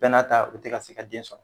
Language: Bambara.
Bɛɛ n'a ta u tɛ ka se ka den sɔr